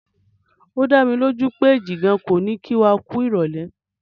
O dámilójú pé Jìgan kò ní kí wa kú ìrọ̀lẹ́.